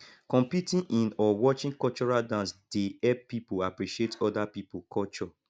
competing in or watching cultural dance dey help pipo appreciate oda pipo culture